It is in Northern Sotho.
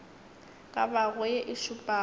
ka bago ye e šupago